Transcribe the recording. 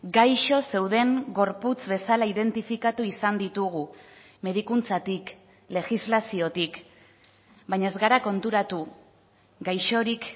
gaixo zeuden gorputz bezala identifikatu izan ditugu medikuntzatik legislaziotik baina ez gara konturatu gaixorik